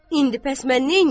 İndi bəs mən neyniyim?